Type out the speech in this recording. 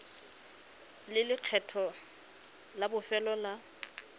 le lekgetho la bofelo la